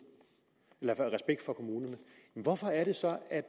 men hvorfor er det så at